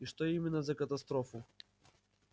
и что именно за катастрофу